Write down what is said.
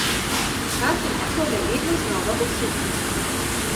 Ta trditev me vedno znova osupne.